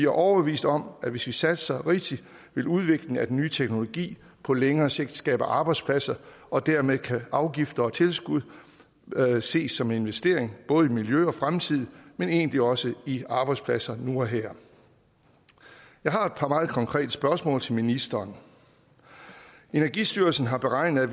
overbevist om at hvis vi satser rigtigt vil udviklingen af den nye teknologi på længere sigt skabe arbejdspladser og dermed kan afgifter og tilskud ses som en investering både i miljøet og i fremtiden men egentlig også i arbejdspladser nu og her jeg har et par meget konkrete spørgsmål til ministeren energistyrelsen har beregnet